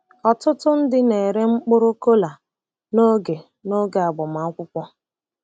Ọtụtụ ndị na-ere mkpụrụ kola noge noge agbamakwụkwọ.